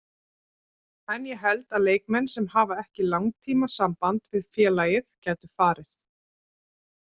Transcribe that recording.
En ég held að leikmenn sem hafa ekki langtíma samband við félagið gætu farið.